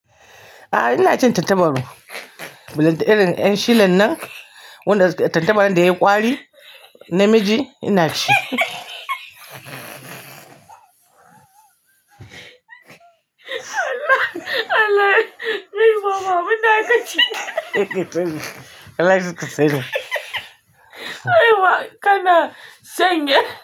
A'a ina cin tantabarru. Irin 'yan shilin nan, wanda tantabarru da yayi kwari namiji ina ci. Allah, Allah! Ni kuma munna ka ci. Allah zai kashe ka. Aiwa ka na sanye.